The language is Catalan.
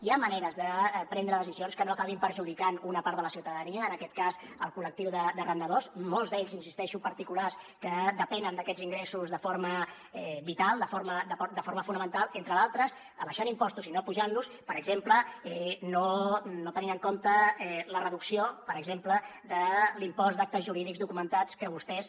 hi ha maneres de prendre decisions que no acabin perjudicant una part de la ciutadania en aquest cas el col·lectiu d’arrendadors molts d’ells hi insisteixo parti culars que depenen d’aquests ingressos de forma vital de forma fonamental entre d’altres abaixant impostos i no apujant los per exemple no tenint en compte la reducció per exemple de l’impost d’actes jurídics documentats que vostès